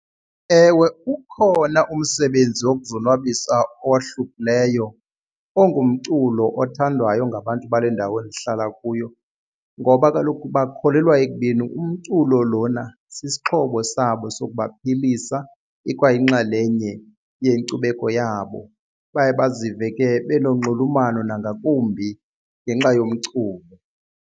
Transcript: Ewe, ukhona umsebenzi wokuzonwabisa owohlukileyo ongumculo othandwayo ngabantu bale ndawo ndihlala kuyo ngoba kaloku bakholelwa ekubeni umculo lona sisixhobo sabo sokubaphilisa ikwayinxalenye yenkcubeko yabo baye bazive ke benonxulumano nangakumbi ngenxa yomculo.